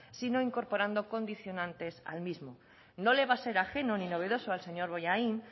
sino incorporando condicionantes al mismo no le va a ser ajena ni novedoso al señor bollain